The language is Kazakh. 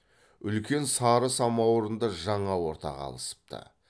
үлкен сары самауырынды жаңа ортаға алысыпты